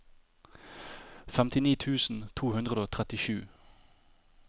femtini tusen to hundre og trettisju